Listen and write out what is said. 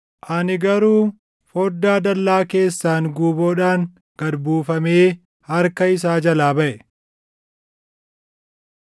Ani garuu foddaa dallaa keessaan guuboodhaan gad buufamee harka isaa jalaa baʼe.